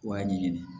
I b'a ɲɛɲini